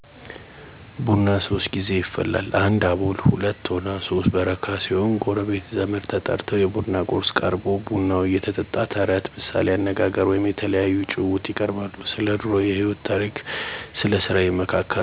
ቡና ሶስት ጌዜ ይፈላል 1 አቦል 2ቶና 3 በረካ ሲሆኑ ጎረቤት፣ ዘመድ ተጠርተው የቡና ቁርስ ቀርቦ ቡናው እየተጠጣ ተረት፣ ምሣሌ አነጋገር ወይም የተለያዩ ጭውውት ይቀርባሉ። ስለድሮ የህይወት ታሪክ ስለስራ ይመካከራሉ።